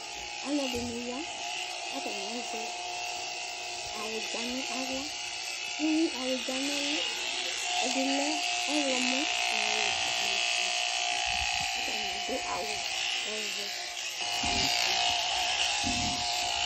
Alʋ ɛdini ya kʋ atani azɛ awʋdza nʋ aɣla ɛwʋ awʋdza nʋ ɛlʋ ɛdilɛ ɔwlɔmɔ nʋ ɔwɛ nʋ ofue kʋ atani adʋ awʋ ɔvɛ nʋ ofue